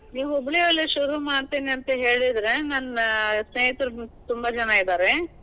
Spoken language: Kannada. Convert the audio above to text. ನೀವ್ ಹುಬ್ಳಿ ಅಲ್ಲೇ ಶುರು ಮಾಡ್ತೀನಿ ಅಂತ ಹೇಳಿದ್ರೆ ನನ್ನ ಸ್ನೇಹಿತರು ತುಂಬಾ ಜನಾ ಇದಾರೆ.